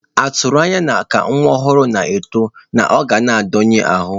A tụrụ anya na ka nwa ọhụrụ na-eto, na ọ ga na-adọnye ahụ.